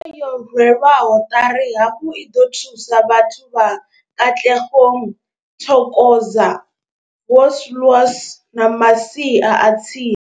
Tshumelo yo rwelwaho ṱari hafhu i ḓo thusa vhathu vha Katlehong, Thokoza, Vosloorus na masia a tsini.